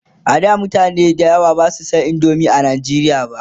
a da mutane da yawa Basu San indomie a nigeria ba